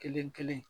Kelen kelen